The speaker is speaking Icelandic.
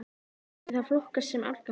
Myndi það flokkast sem árangur??